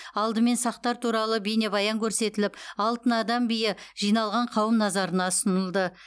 алдымен сақтар туралы бейнебаян көрсетіліп алтын адам биі жиналған қауым назарына ұсынылды